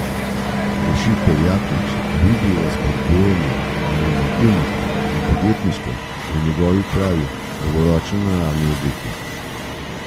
Rešitev Jaklič vidi v spodbujanju inovativnosti in podjetništva v njegovi pravi dolgoročno naravnani obliki.